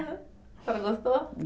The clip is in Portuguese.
a senhora gostou?